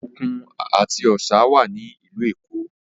Òkun àti Ọ̀sà wà ní ìlú Èkó